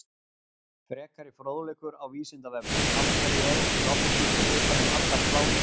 Frekari fróðleikur á Vísindavefnum: Af hverju er ekki lofthjúpur utan um allar plánetur?